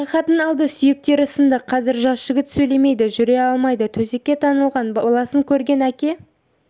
жарақатын алды сүйектері сынды қазір жас жігіт сөйлемейді жүре алмайды төсекке таңылған баласын көрген әке